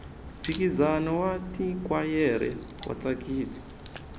mphikizano wa tikhwayere wa tsakisa